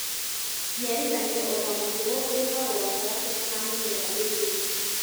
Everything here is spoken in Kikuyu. Njiarithanio ota mũtugo ĩkagwo gatagatĩ ka mĩmera ĩrĩ